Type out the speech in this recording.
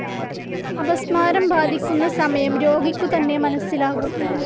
അപസ്മാരം ബാധിക്കുന്ന സമയം രോഗിക്കുതന്നെ മനസ്സിലാകും.